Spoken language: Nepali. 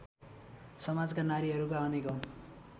समाजका नारीहरूका अनेकौँ